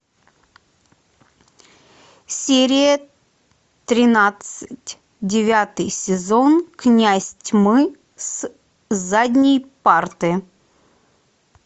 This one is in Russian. серия тринадцать девятый сезон князь тьмы с задней парты